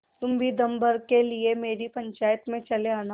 तुम भी दम भर के लिए मेरी पंचायत में चले आना